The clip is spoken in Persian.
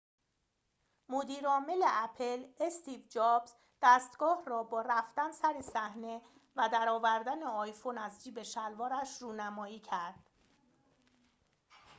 مدیر عامل اپل استیو جابز دستگاه را با رفتن سر صحنه و در آوردن آیفون از جیب شلوارش رونمایی کرد